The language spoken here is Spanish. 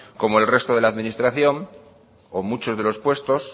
como el resto de la administración o muchos de los puestos